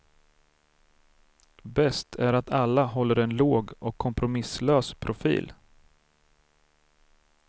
Bäst är att alla håller en låg och kompromisslös profil.